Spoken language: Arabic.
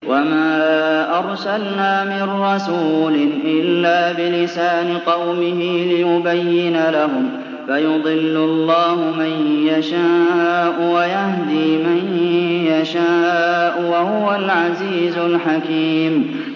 وَمَا أَرْسَلْنَا مِن رَّسُولٍ إِلَّا بِلِسَانِ قَوْمِهِ لِيُبَيِّنَ لَهُمْ ۖ فَيُضِلُّ اللَّهُ مَن يَشَاءُ وَيَهْدِي مَن يَشَاءُ ۚ وَهُوَ الْعَزِيزُ الْحَكِيمُ